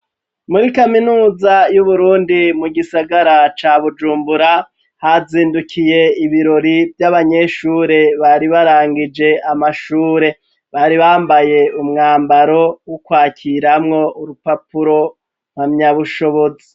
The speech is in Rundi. Muri kaminuza y'u burundi mu gisagara ca Bujumbura hazindukiye ibirori vy'abanyeshure bari barangije amashure bari bambaye umwambaro w'ukwakiramwo urupapuro mpamyabushobozi.